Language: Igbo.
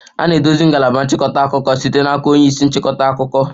A na-eduzi ngalaba nchịkọta akụkọ site n'aka onye isi nchịkọta akụkọ.